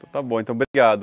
Então está bom, então obrigado.